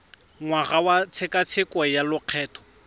ngwaga wa tshekatsheko ya lokgetho